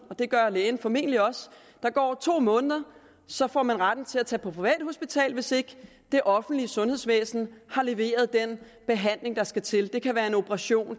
og det gør lægen formentlig også at der går to måneder og så får man retten til at tage på privathospital hvis ikke det offentlige sundhedsvæsen har leveret den behandling der skal til det kan være en operation hvor